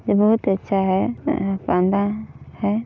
ये बहुत अच्छा है अअ पांदा है।